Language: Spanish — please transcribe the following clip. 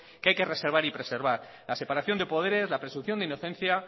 que hay que reservar y preservar la separación de poderes la presunción de inocencia